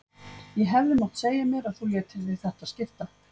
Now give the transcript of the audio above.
Ég hefði mátt segja mér að þú létir þig þetta skipta.